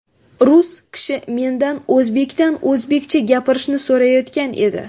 Rus kishi mendan – o‘zbekdan o‘zbekcha gapirishni so‘rayotgan edi!